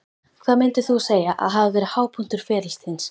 Hvað myndir þú segja að hafi verið hápunktur ferils þíns?